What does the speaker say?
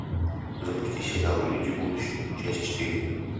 запусти сериал люди будущего часть четыре